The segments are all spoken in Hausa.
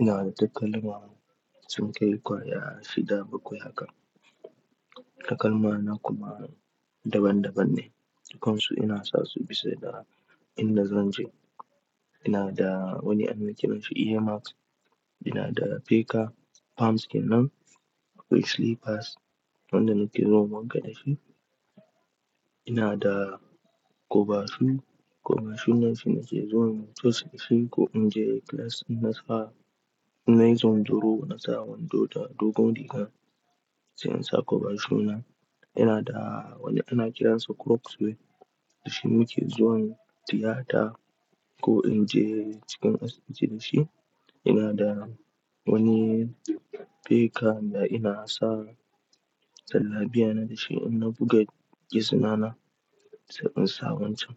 Ina da takalma sun kai kwaya shida bakwai haka. Takalma na kuma daban-daban ne. Dukansu ina sa su bisa da inda zan je. Ina da wani ana kiransa Airmax, ina da feka palms kenan akwai slippers wanda nake zuwa wanka da shi. Ina da kobashu, kobashu nan shine ke zuwan coci da shi ko in je class in na sa, in na yi zunzoro na sa wando da dogon riga sai in sa kobashu nan. Ina da wani ana kiransa Crocs wai da shi muke zuwan tiyata ko in je cikin asibiti da shi. Ina da wani feka da ina sa jalla biya na da shi in na buga gezina na sai in sa wancan.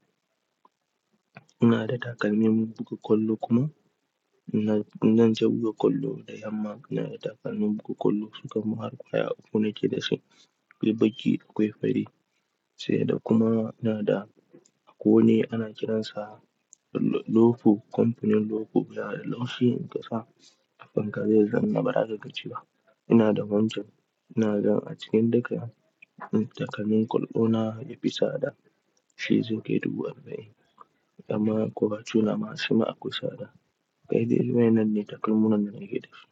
Ina da takalmin buga kwallo kuma ina, in zan je buga kwallo da yamma ina da takalmin buga kwallo sukan ma ƙwaya uku nake da shi akwai baki akwai fari. Sai da kuma ina da akwai wani ana kiransa lo, lofu kamfanin lofu baya da laushi in ka sa a fanka zai zama ba za ka gaji ba. Ina da wancan, ina ga a cikin duka takalmin kwallo na yafi sada shi zai kai duba arbain. Amma kobashuna shima akwai sada. Kai daiwaine ne takalmin na nake da shi.